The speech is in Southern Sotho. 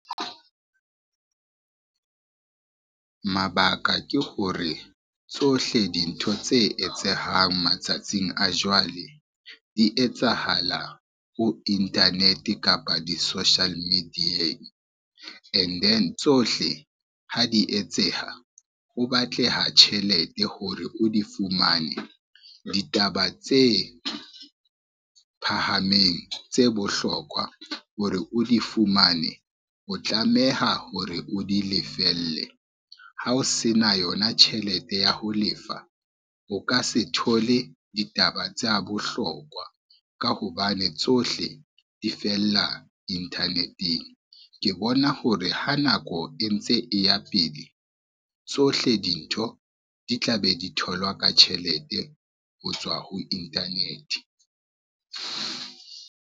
Mabaka ke hore tsohle dintho tse etsahang matsatsing a jwale, di etsahala ho internet kapa di-social media-ng and then tsohle ha di etseha ho batleha tjhelete hore o di fumane ditaba tse phahameng, tse bohlokwa hore o di fumane, o tlameha hore o di lefelle ha o se na yona tjhelete ya ho lefa o ka se thole ditaba tsa bohlokwa ka hobane tsohle di fella internet-eng. Ke bona hore ha nako e ntse e ya pele, tsohle dintho di tla be di tholwa ka tjhelete ho tswa ho internet.